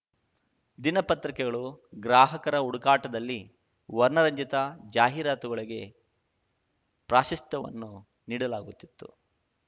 ದಿನಪತ್ರಿಕೆಗಳು ಗ್ರಾಹಕರ ಹುಡುಕಾಟದಲ್ಲಿ ವರ್ಣರಂಜಿತ ಜಾಹೀರಾತುಗಳಿಗೆ ಪ್ರಾಶಸ್ತ್ಯವನ್ನು ನೀಡಲಾಗುತ್ತಿತ್ತು